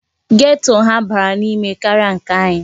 Geto ha bara n'ime karịa nke anyị.